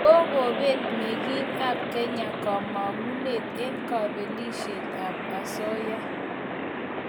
Kogobet mengig ap Kenya kamangunet en kapelisiet ap osooya,